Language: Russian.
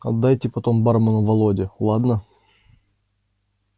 отдайте потом бармену володе ладно